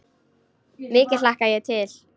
Mikið hlakka ég til.